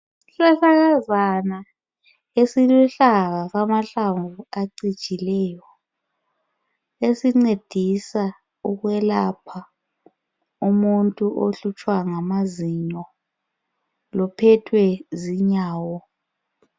Isihlahlakazana esiluhlaza amahlamvu acijileyo esincedisa ukwelapha umuntu ohlutshwa ngamazinyo luphethwe zinyawo